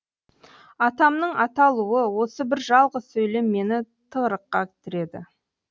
атымның аталуы осы бір жалғыз сөйлем мені тығырыққа тіреді